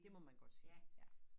Det må man godt sige ja